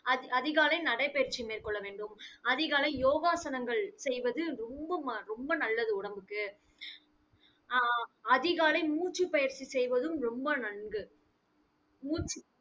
அதி~ அதிகாலை நடைபயிற்சி மேற்கொள்ளவேண்டும். அதிகாலை யோகாசனங்கள் செய்வது ரொம்ப ம~ ரொம்ப நல்லது உடம்புக்கு. அஹ் அஹ் அஹ் அதிகாலை மூச்சுப் பயிற்சி செய்வதும் ரொம்ப நன்று மூச்சு,